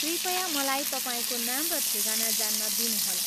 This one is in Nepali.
कृपया मलाई तपाईँको नाम र ठेगाना जान्न दिनुहोला।